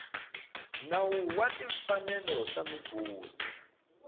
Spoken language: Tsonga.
nawu wa timfanelo ta migodi